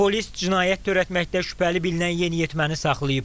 Polis cinayət törətməkdə şübhəli bilinən yeniyetməni saxlayıb.